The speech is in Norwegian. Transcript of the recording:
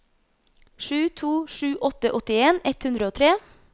sju to sju åtte åttien ett hundre og tre